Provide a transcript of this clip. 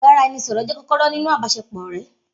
Ibaraẹnisọrọ jẹ kọkọrọ ninu àbàsẹ pọ ọrẹ.